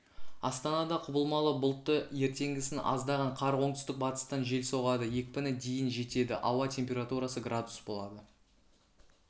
астанада құбылмалы бұлтты ертеңгісін аздаған қар оңтүстік-батыстан жел соғады екпіні дейін жетеді ауа температурасы градус болады